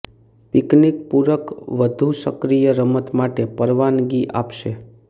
picnic પૂરક વધુ સક્રિય રમત માટે પરવાનગી આપશે